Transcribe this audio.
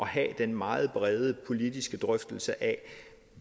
have den meget brede politiske drøftelse af